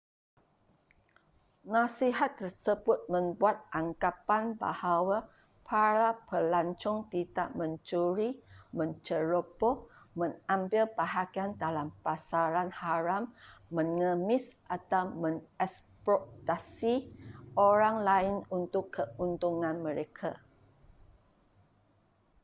nasihat tersebut membuat anggapan bahawa para pelancong tidak mencuri menceroboh mengambil bahagian dalam pasaran haram mengemis atau mengeksploitasi orang lain untuk keuntungan mereka